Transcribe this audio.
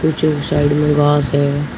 पीछे एक साइड में बाँस है।